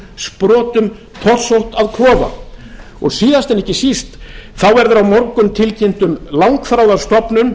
sprotum torsótt að klofa síðast en ekki síst verður á morgun tilkynnt um langþráða stofnun